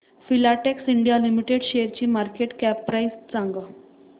Filatex India limited शेअरची market cap price सांगा